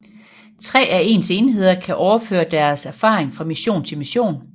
Tre af ens enheder kan overføre deres erfaring fra mission til mission